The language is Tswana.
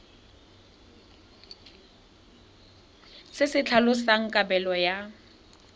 se se tlhalosang kabelo ya